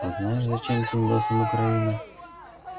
а знаешь зачем пиндосам украина